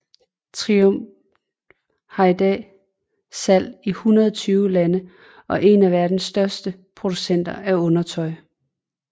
Triump har i dag salg i 120 lande og en af verdens største producenter af undertøj